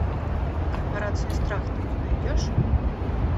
корпорация страх ты мне найдешь